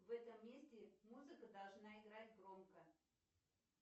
в этом месте музыка должна играть громко